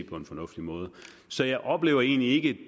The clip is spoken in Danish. på en fornuftig måde så jeg oplever egentlig ikke